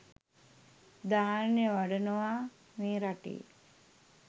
ධ්‍යාන වඩනවා මේ රටේ